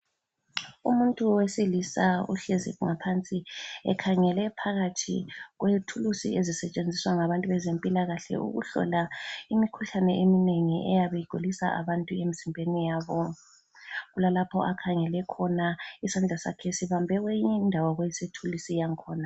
Umuntu wesilisa uhlezi ngaphansi ekhangele phakathi kwethulusi ezisetshenziswa ngabantu bezempilakahle ukuhlola imikhuhlane eminengi eyabe igulisa abantu emizimbeni yabo. Kulalapho akhangele khona isandla sakhe sibambe kweyinye indawo yethulusi yakhona.